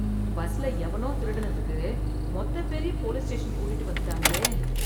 பஸ்ல எவனோ திருடினத்துக்கு மொத்த பேரையும் போலீஸ் ஸ்டேஷன் கூட்டிட்டு வந்துட்டாங்களே.